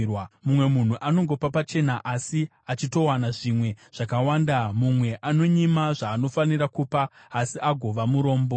Mumwe munhu anongopa pachena, asi achitowana zvimwe zvakawanda; mumwe anonyima zvaanofanira kupa, asi agova murombo.